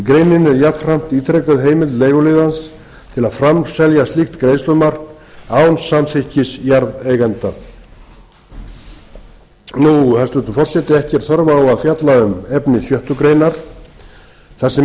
greininni er jafnframt ítrekuð heimild leiguliðans til að framselja slíkt greiðslumark án samþykkis jarðeiganda hæstvirtur forseti ekki er þörf á að fjalla um án sjöttu grein þar sem ekki er